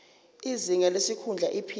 izinga lesikhundla iphini